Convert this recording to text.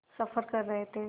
सफ़र कर रहे थे